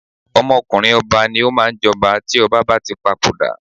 Ọmọkùnrin ọba ni ó máa ń jọba tí ọba bá tí papoda.